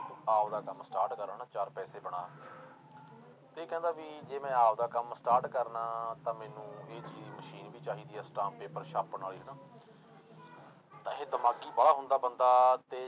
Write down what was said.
ਆਪਦਾ ਕੰਮ start ਕਰ ਹਨਾ ਚਾਰ ਪੈਸੇ ਬਣਾ ਇਹ ਕਹਿੰਦਾ ਵੀ ਜੇ ਮੈਂ ਆਪਦਾ ਕੰਮ start ਕਰਨਾ ਤਾਂ ਮੈਨੂੰ ਮਸ਼ੀਨ ਵੀ ਚਾਹੀਦਾ ਆ ਅਸਟਾਮ ਪੇਪਰ ਛਾਪਣ ਵਾਲੀ ਹਨਾ ਤਾਂ ਇਹ ਦਿਮਾਗੀ ਵਾਲਾ ਹੁੰਦਾ ਬੰਦਾ ਤੇ